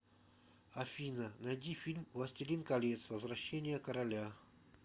афина найди фильм властелин колец возвращение короля